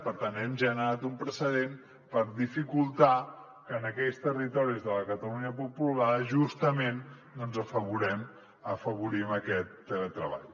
per tant hem generat un precedent per dificultar que en aquells territoris de la catalunya poc poblada justament afavorim aquest teletreball